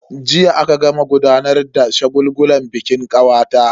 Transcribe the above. Jiya aka gama gudanar da shagulgulan bikin kawata.